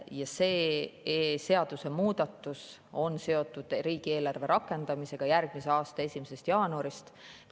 Ja see seadusemuudatus on seotud riigieelarve rakendamisega järgmise aasta 1. jaanuarist.